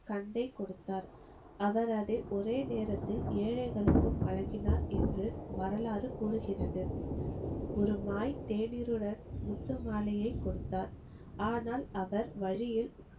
கந்தை கொடுத்தார் அவரது ஒரே நேரத்தில் ஏழைகளுக்கும் வழங்கினார் என்று வரலாறு கூருகிறது ஒரு வாய் தேநீருடன் முத்து மாலையை கொடுத்தார் ஆனால் அவர் வழியில்